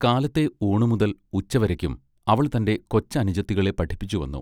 കാലത്തെ ഊണുമുതൽ ഉച്ചവരയ്ക്കും അവൾ തന്റെ കൊച്ച് അനുജത്തികളെ പഠിപ്പിച്ചുവന്നു.